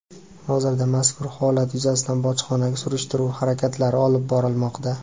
Hozirda mazkur holat yuzasidan bojxona surishtiruv harakatlari olib borilmoqda.